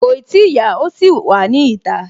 Kòì tíì yá, ó ṣì wà ní ìta